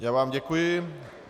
Já vám děkuji.